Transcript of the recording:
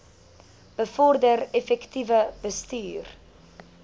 bevorder effektiewe bestuur